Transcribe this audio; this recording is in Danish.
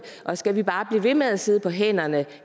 og skal vi bare blive ved med at sidde på hænderne